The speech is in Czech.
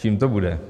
Čím to bude?